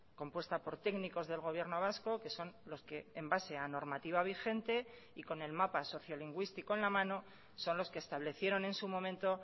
compuesta por técnicos del gobierno vasco que son los que en base a normativa vigente y con el mapa sociolingüístico en la mano son los que establecieron en su momento